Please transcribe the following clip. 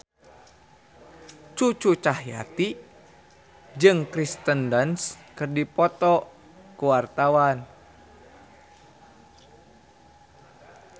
Cucu Cahyati jeung Kirsten Dunst keur dipoto ku wartawan